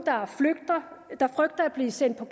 der frygter at blive sendt på